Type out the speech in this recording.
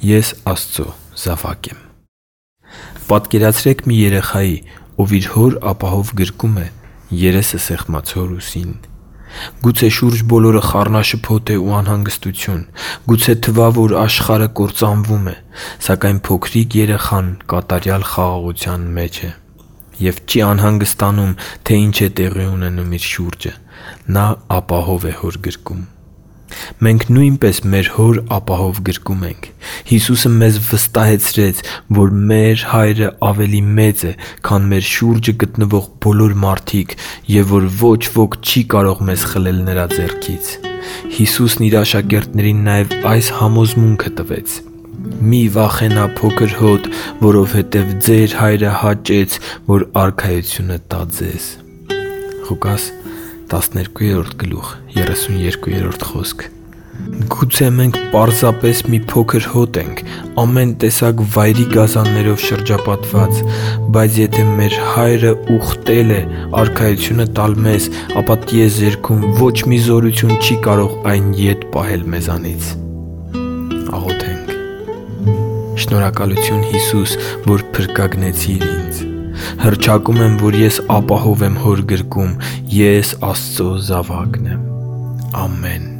Ես Աստծո զավակ եմ Պատկերացրե՛ք մի երեխայի, ով իր հոր ապահով գրկում է՝ երեսը սեղմած հոր ուսին։ Գուցե շուրջբոլորը խառնաշփոթ է ու անհանգստություն։ Գուցե թվա, որ աշխարհը կործանվում է։ Սակայն փոքրիկ երեխան կատարյալ խաղաղության մեջ է և չի անհանգստանում, թե ինչ է տեղի ունենում իր շուրջը։ Նա ապահով է իր հոր գրկում։ Մենք նույնպես մեր Հոր ապահով գրկում ենք։ Հիսուսը մեզ վստահեցրեց, որ մեր Հայրն ավելի մեծ է, քան մեր շուրջը գտնվող բոլոր մարդիկ, և որ ոչ ոք չի կարող մեզ խլել Նրա ձեռքից։ Հիսուսն իր աշակերտներին նաև այս համոզմունքը տվեց. «Մի՛ վախենա, փո՛քր հոտ, որովհետև ձեր Հայրը հաճեց, որ արքայությունը տա ձեզ» (Ղուկաս 12:32): Գուցե մենք պարզապես մի փոքր հոտ ենք՝ ամեն տեսակ վայրի գազաններով շրջապատված։ Բայց եթե մեր Հայրն ինքն իրեն ուխտել է արքայությունը տալ մեզ, ապա տիեզերքում ոչ մի զորություն չի կարող այն ետ պահել մեզնից։ Շնորհակալութու՛ն, Հիսու՛ս, որ փրկագնեցիր ինձ։ Հռչակում եմ, որ ես ապահով եմ Հոր գրկում։ Ես Աստծո զավակն եմ։ Ամեն։